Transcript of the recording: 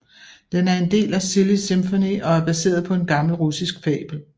Den er en del af Silly Symphony og er baseret på en gammel russisk fabel